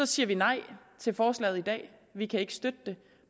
siger vi nej til forslaget i dag vi kan ikke støtte det